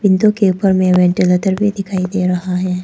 Window के ऊपर में वेंटिलेटर भी दिखाई दे रहा है।